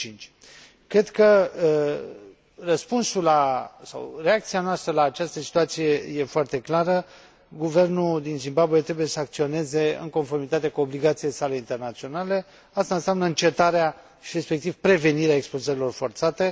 2005. Cred că răspunsul sau reacția noastră la această situație este foarte clară guvernul din Zimbabwe trebuie să acționeze în conformitate cu obligațiile sale internaționale. Aceasta înseamnă încetarea și respectiv prevenirea expulzărilor forțate.